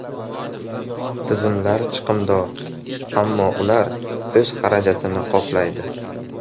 Tizimlar chiqimdor, ammo ular o‘z xarajatini qoplaydi.